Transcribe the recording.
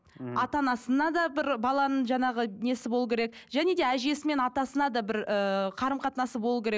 мхм ата анасына да бір баланың жаңағы несі болу керек және де әжесі мен атасына да бір ыыы қарым қатынасы болу керек